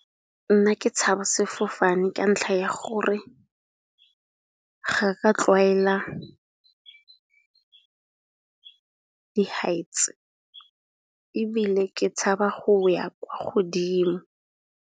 Nna ke tshabe sefofane ka ntlha ya gore ga ka tlwaela di-heights, ebile ke tshaba go ya kwa godimo.